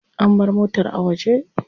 An bar motar a waje.